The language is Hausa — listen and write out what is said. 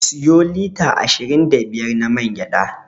Siyo lita ashirin da biyar na man gyaɗa.